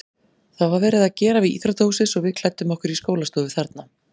Það var verið að gera við íþróttahúsið svo við klæddum okkur í skólastofu þarna.